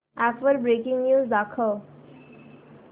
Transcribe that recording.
app वर breaking news दाखव